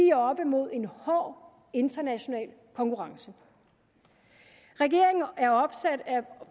er oppe mod en hård international konkurrence regeringen er